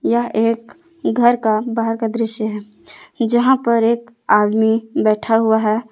यह एक घर का बाहर का दृश्य है जहां पर एक आदमी बैठा हुआ है।